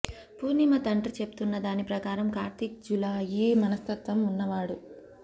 పూర్ణిమ తండ్రి చెప్తున్న దాని ప్రకారం కార్తీక్ జులాయి మనస్తత్వం ఉన్నవాడు